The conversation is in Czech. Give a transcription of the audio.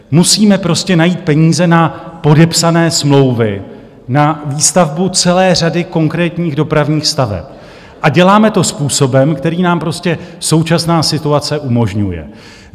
Musíme prostě najít peníze na podepsané smlouvy na výstavbu celé řady konkrétních dopravních staveb a děláme to způsobem, který nám prostě současná situace umožňuje.